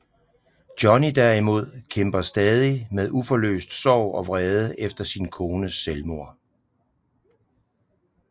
Johnny derimod kæmper stadig med uforløst sorg og vrede efter sin kones selvmord